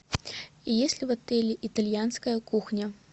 есть ли в отеле итальянская кухня